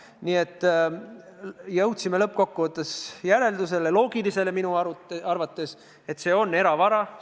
Nii et lõppkokkuvõttes oleme jõudnud järeldusele – minu arvates loogilisele –, et teise pensionisamba raha on eravara.